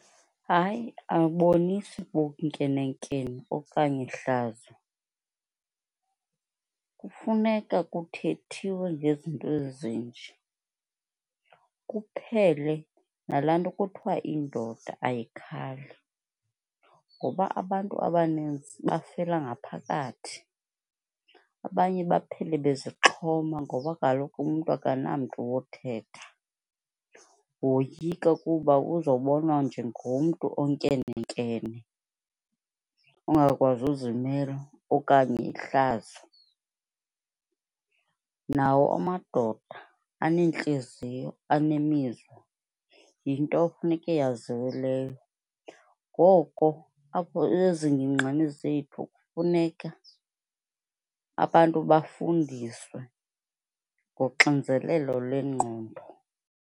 Hayi, ayibonisi bunkenenkene okanye hlazo. Kufuneka kuthethiwe ngezinto ezinje, kuphele nala nto kuthiwa indoda ayikhali ngoba abantu abanintsi befela ngaphakathi. Abanye baphele bezixhoma ngoba kaloku umntu akanamntu wothetha, woyika kuba uzobonwa njengomntu onkene nkene, ongakwazi uzimela okanye ihlazo. Nawo amadoda aneentliziyo, unemizwa, yinto funeke yaziwe leyo. Ngoko apho zethu kufuneka abantu bafundiswe ngoxinzelelo lwengqondo.